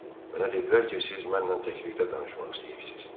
Mənə dedilər ki, siz mənlə təklikdə danışmaq istəyirsiz.